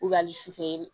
su fɛ